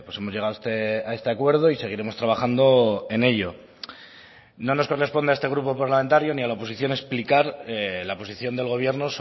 hemos llegado a este acuerdo y seguiremos trabajando en ello no nos corresponde a este grupo parlamentario ni a la oposición explicar la posición del gobierno